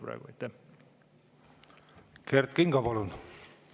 Kert Kingo, palun!